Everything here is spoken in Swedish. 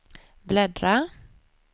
bläddra